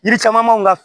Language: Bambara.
Yiri caman mankanw ka